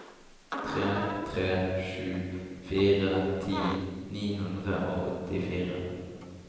tre tre sju fire ti ni hundre og åttifire